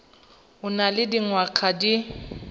o nang le dingwaga di